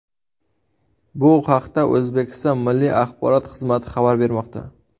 Bu haqda O‘zbekiston Milliy axborot xizmati xabar bermoqda .